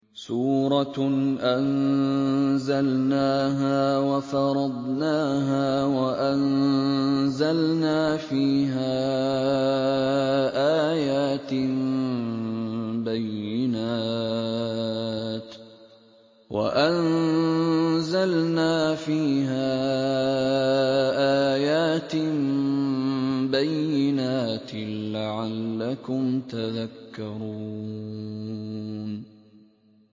سُورَةٌ أَنزَلْنَاهَا وَفَرَضْنَاهَا وَأَنزَلْنَا فِيهَا آيَاتٍ بَيِّنَاتٍ لَّعَلَّكُمْ تَذَكَّرُونَ